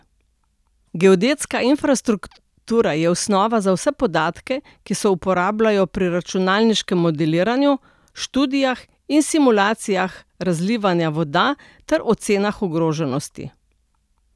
Geodetska infrastruktura je osnova za vse podatke, ki se uporabljajo pri računalniškem modeliranju, študijah in simulacijah razlivanja voda ter ocenah ogroženosti.